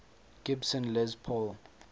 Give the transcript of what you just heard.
gibson les paul